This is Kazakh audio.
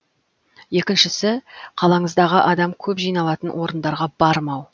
екіншісі қалаңыздағы адам көп жиналатын орындарға бармау